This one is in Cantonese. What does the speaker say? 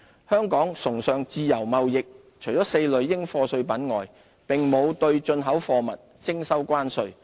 香港崇尚自由貿易，除4類應課稅品外，並沒有對進出口貨物徵收關稅。